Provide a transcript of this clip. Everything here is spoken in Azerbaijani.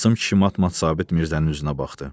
Qasım kişi mat-mat Sabit Mirzənin üzünə baxdı.